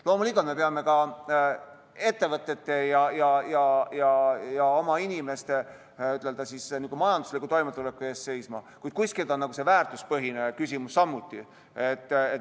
Loomulikult peame ka ettevõtete ja inimeste majandusliku toimetuleku eest seisma, kuid kuskilt on see väärtuspõhine küsimus samuti.